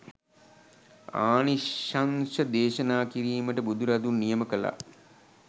ආනිශංශ දේශනා කිරීමට බුදුරදුන් නියම කළා